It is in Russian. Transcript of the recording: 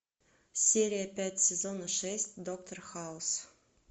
серия пять сезона шесть доктор хаус